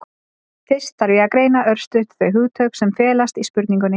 fyrst þarf að greina örstutt þau hugtök sem felast í spurningunni